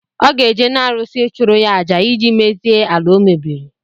Ọ ga-eje na arụsị, ịchụrụ ya àjà ịjị mezie ala o mebiri